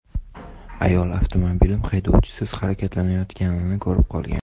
Ayol avtomobilim haydovchisiz harakatlanayotganini ko‘rib qolgan.